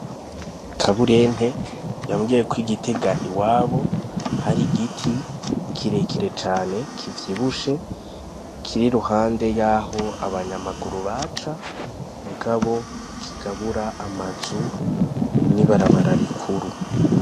KABURENTE yambwiye ko i gitega iwabo hari igiti kirekire cane kivyibushe kiri iruhande yaho abanyamaguru baca mugabo kigabura amazu n'ibarabara rikuru.